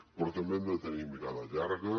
però també hem de tenir mirada llarga